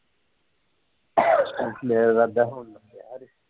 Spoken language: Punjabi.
ਮੇਰਾ ਰਾਦਾ ਹੁਣ ਨਪਿਆ ਜੇ